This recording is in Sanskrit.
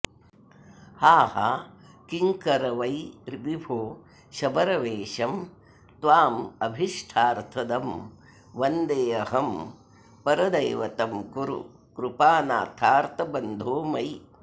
हा हा किङ्करवै विभो शबरवेषं त्वामभीष्टार्थदं वन्देऽहं परदैवतं कुरु कृपानाथार्तबन्धो मयि